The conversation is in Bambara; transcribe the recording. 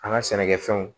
An ka sɛnɛkɛfɛnw